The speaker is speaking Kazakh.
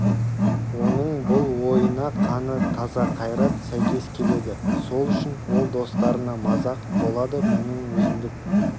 оның бұл ойына қаны таза қайрат сәйкес келеді сол үшін ол достарына мазақ болады мұның өзіндік